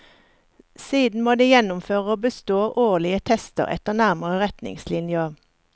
Siden må de gjennomføre og bestå årlige tester etter nærmere retningslinjer.